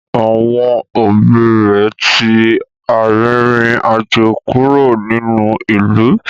Àwọn òbí rẹ̀ ti arìnrìn-àjò kúrò nínú ìlú